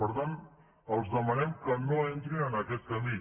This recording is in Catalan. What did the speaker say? per tant els demanem que no entrin en aquest camí